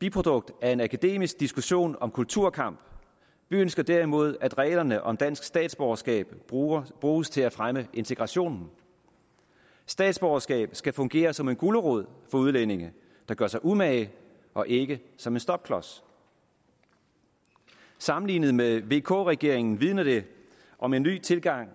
biprodukt af en akademisk diskussion om kulturkamp vi ønsker derimod at reglerne om dansk statsborgerskab bruges bruges til at fremme integrationen statsborgerskab skal fungere som en gulerod for udlændinge der gør sig umage og ikke som en stopklods sammenlignet med vk regeringen vidner det om en ny tilgang